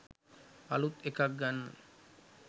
අලූත් එකක් ගන්න